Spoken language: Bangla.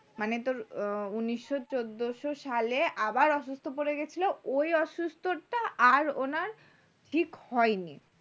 মানে তোর উনিশশো চোদ্দ সালে আবার অসুস্থ হয়ে পড়েছিল ওই অসুস্থটা আর ওনার ঠিক হয়নি